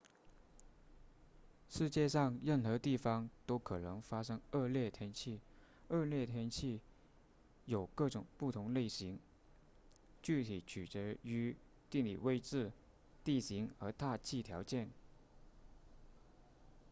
世界上任何地方都可能发生恶劣天气恶劣天气有各种不同类型具体取决于地理位置地形和大气条件